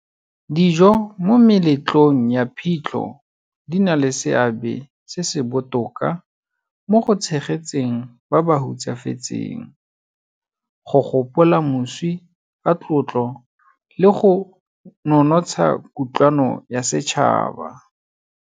Dijo mo meletlong ya phitlho di na le seabe se se botoka mo go tshegetseng ba ba hutsafetseng, go gopola moswi ka tlotlo le go nonotsha kutlwano ya setšhaba.